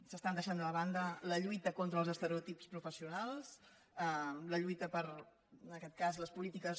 s’està deixant de banda la lluita contra els estereotips professionals la lluita per en aquest cas les polítiques